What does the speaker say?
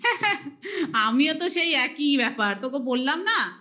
আমিও তো সেই একই ব্যাপার. তোকে বললাম না